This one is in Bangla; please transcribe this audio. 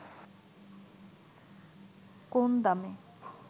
কোন দামে